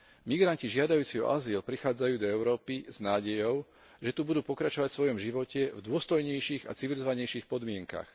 Migranti žiadajúci o azyl prichádzajú do Európy s nádejou, že tu budú pokračovať vo svojom živote v dôstojnejších a civilizovanejších podmienkach.